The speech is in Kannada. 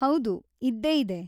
ಹೌದು, ಇದ್ದೇ ಇದೆ.